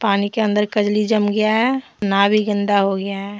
पानी के अंदर कजली जम गया है नाव भी गंदा हो गया है।